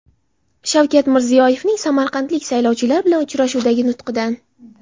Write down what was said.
Shavkat Mirziyoyevning samarqandlik saylovchilar bilan uchrashuvdagi nutqidan.